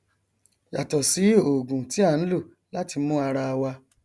yàtọ sí ògùn tí a nlò láti mú ara wa